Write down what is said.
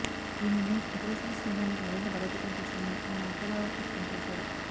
ఈ నిర్ణయం ఇరుదేశాల స్నేహాన్ని మరింత బలోపేతం చేస్తుందని ఆయన ఆశాభావం వ్యక్తం చేశారు